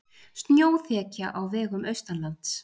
Snjóþekja á vegum austanlands